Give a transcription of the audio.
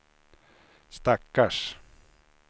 stackars